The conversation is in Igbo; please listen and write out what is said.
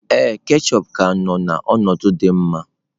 Ee, ketchup ka nọ n'ọnọdụ dị mma